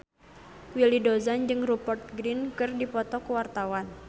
Willy Dozan jeung Rupert Grin keur dipoto ku wartawan